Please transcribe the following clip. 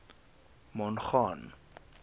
mongane